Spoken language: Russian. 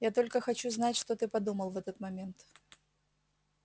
я только хочу знать что ты подумал в этот момент